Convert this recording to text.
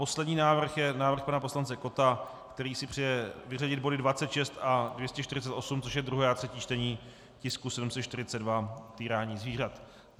Poslední návrh je návrh pana poslance Kotta, který si přeje vyřadit body 26 a 248, což je druhé a třetí čtení tisku 742, týrání zvířat.